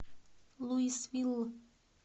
луисвилл